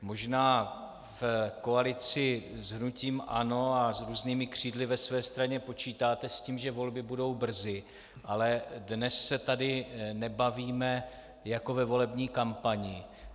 Možná v koalici s hnutím ANO a s různými křídly ve své straně počítáte s tím, že volby budou brzy, ale dnes se tady nebavíme jako ve volební kampani.